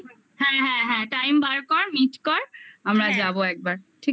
হ্যাঁ হ্যাঁ time বার কর meet কর একবার